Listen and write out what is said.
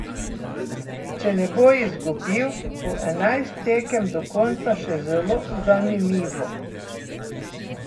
Če ne bo izgubil, bo enajst tekem do konca še zelo zanimivo.